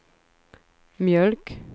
mjölk